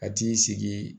Ka t'i sigi